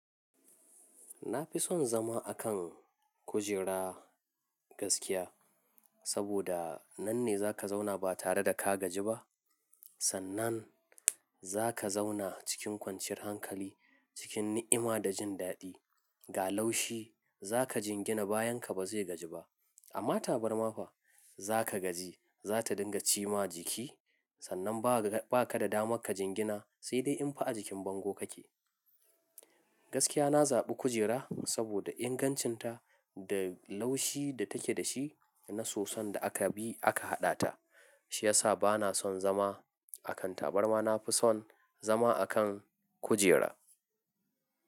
Na fi son zama a kan kujera gaskiya, saboda nan ne za ka zauna ba tare da ka gaji ba. Sannan za ka zauna cikin kwanciyar hankali, cikin ni'ima da jin daɗi. Ga laushi za ka jingina, bayan ka ba zai gaji ba. Amma tabarma fa za ka gaji, za ta dinga ci ma jiki. Sannan ba ka da dama ka jingina, sai dai in fa a jikin bango kake. Gaskiya na zaɓi kujera saboda ingancinta da laushi da take da shi na soson da aka bi aka haɗa ta, shi ya sa ba na son zama a kan tabarma. Na fi son zama a kan kujera.